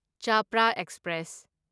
Chapra express